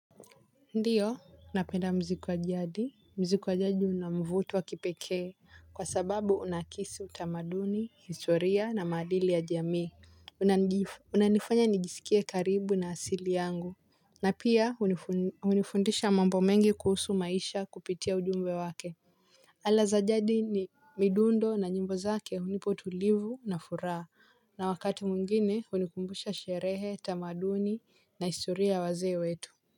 Ndiyo napenda muziku wa jadi, muziku wa jadi una mvuto wa kipekee kwa sababu unakisi utamaduni, historia na maadili ya jamii unanifanya nijisikie karibu na asili yangu na pia hunifundisha mambo mengi kuhusu maisha kupitia ujumbe wake ala za jadi ni midundo na nyimbo zake unipa utulivu na furaha na wakati mwingine hunikumbusha sherehe, tamaduni na historia ya wazee wetu.